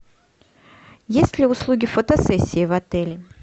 есть ли услуги фотосессии в отеле